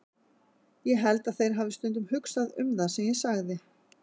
Ég held að þeir hafi stundum hugsað um það sem ég sagði.